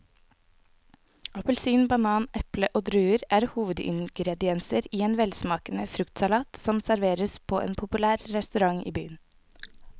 Appelsin, banan, eple og druer er hovedingredienser i en velsmakende fruktsalat som serveres på en populær restaurant i byen.